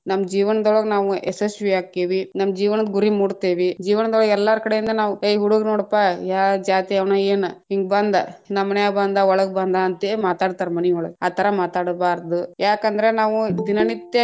ನಮ್ಮ ಜೀವನ್ದೋಳಗ್‌ ನಾವ್‌ ಯಶಸ್ವಿಯಾಕ್ಕೇವಿ, ನಮ್ಮ ಜೀವನದ್‌ ಗುರಿ ಮುಟ್ಟತೇವಿ, ಜೀವನದೊಳಗ್‌ ಎಲ್ಲಾರ ಕಡೆಯಿಂದ ನಾವ ಏ ಹುಡ್ಗು ನೋಡ್ಪಾ ಯಾವ ಜಾತಿಯವನ್‌ ಏನ್‌, ಹಿಂಗ ಬಂದಾ ನಮ್ಮ ಮನ್ಯಾಗ ಬಂದಾ ಒಳಗ್‌ ಬಂದಾ ಅಂತ್ಹೇಳಿ ಮಾತಾಡತಾರ ಮನಿಯೊಳಗ ಆ ಥರಾ ಮಾತಾಡೂಬಾರದು ಯಾಕಂದ್ರ ನಾವು ದಿನನಿತ್ಯ.